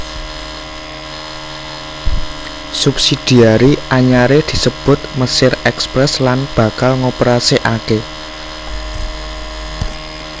Subsidiari anyaré disebut Mesir Express lan bakal ngoperasikaké